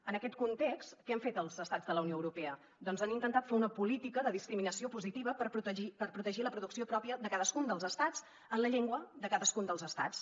en aquest context què han fet els estats de la unió europea doncs han intentat fer una política de discriminació posi·tiva per protegir la producció pròpia de cadascun dels estats en la llengua de cadas·cun dels estats